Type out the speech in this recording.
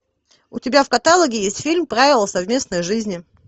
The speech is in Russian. у тебя в каталоге есть фильм правила совместной жизни